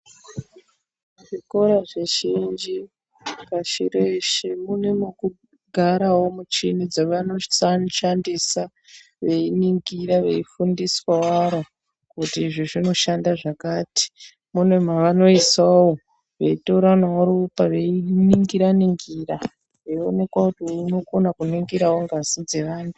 Zvikora zvizhinji pashi reshe mune mokugarawo muchini dzavanoshandisa veiningira vei fundiswa waro kuti izvi zvinoshande zvakati mune mavanoisawo veitoranawo ropa veiningira ningira veionekwa kuti uyu unokonawo kuningira ngszi dze vantu.